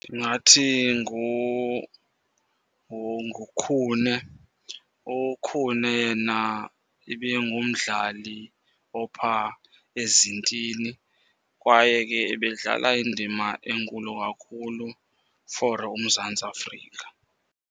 Ndingathi nguKhune. UKhune yena ibingumdlali ophaa ezintini, kwaye ke ebedlala indima enkulu kakhulu for uMzantsi Afrika.